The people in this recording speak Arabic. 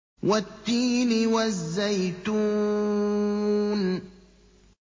وَالتِّينِ وَالزَّيْتُونِ